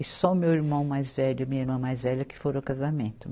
E só o meu irmão mais velho e minha irmã mais velha que foram ao casamento.